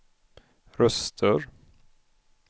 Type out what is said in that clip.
röster